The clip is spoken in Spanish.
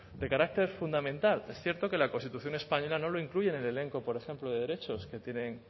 de carácter fundamental es cierto que la constitución española no lo incluye en el elenco por ejemplo de derechos que tienen